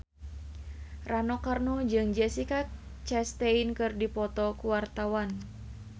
Rano Karno jeung Jessica Chastain keur dipoto ku wartawan